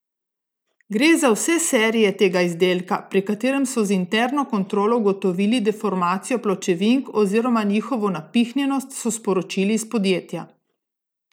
Gre za vse serije tega izdelka, pri katerem so z interno kontrolo ugotovili deformacijo pločevink oziroma njihovo napihnjenost, so sporočili iz podjetja.